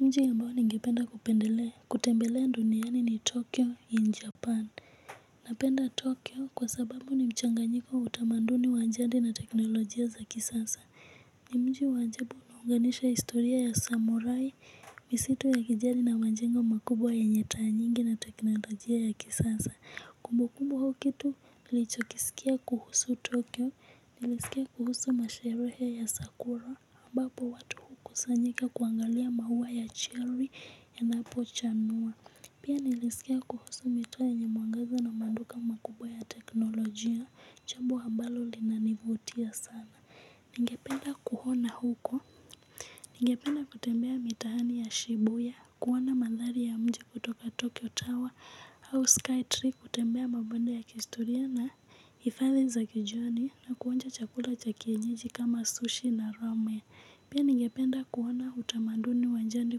Mji ambao ningependa kupendelea kutembelea duniani ni tokyo in japan napenda tokyo kwa sababu ni mchanganyiko utamanduni wa njandi na teknolojia za kisasa ni mji wa anjabu naunganisha istoria ya samurai misitu ya kijari na manjengo makubwa yenye taa nyingi na teknolojia ya kisasa kumbukumbu au kitu nilichokisikia kuhusu tokyo nilisikia kuhusu masherehe ya sakura aMbapo watu hukusanyika kuangalia maua ya cherry yanapo chanua. Pia nilisikia kuhusu mito yenye mwangaza na manduka makubwa ya teknolojia. Chambu ambalo linanivutia sana. Ningependa kuhona huko. Ningependa kutembea mitaani ya shibuya kuona madhari ya mji kutoka Tokyo Tower Au Skytree kutembea mabanda ya kihistoria na hifadhi za kijoni na kuonja chakula cha kienyeji kama sushi na rame. Pia ningependa kuona utamanduni wa njandi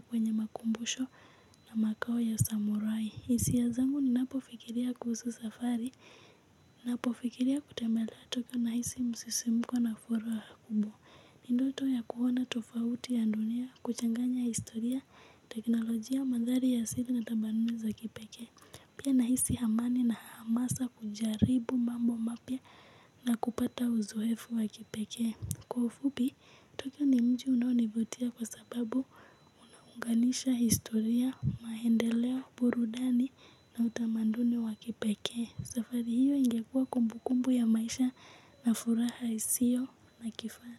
kwenye makumbusho na makao ya samurai. Hisia zangu ninapofikiria kuhusu safari, napofikiria kutembelea tokyo nahisi msisimuko na furaha wa kubo. Ni ndoto ya kuona tofauti ya dunia, kuchanganya historia, teknolojia, madhari ya asili na tabanume za kipeke. Pia nahisi hamani na hamasa kujaribu mambo mapya na kupata uzoefu wa kipekee. Kwa ufupi, tokyo ni mji unaonivutia kwa sababu unaunganisha, historia, maendeleo, burudani na utamanduni wa kipeke. Safari hiyo ingekuwa kumbu kumbu ya maisha na furaha isio na kifana.